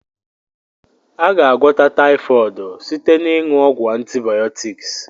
A ga- agwọta typhooid site na ịnwu ọgwu antibiotics.